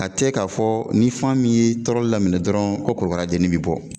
A tɛ ka fɔ ni fan min ye tɔɔrɔli daminɛ dɔrɔn ko korokara dennin bɛ bɔ.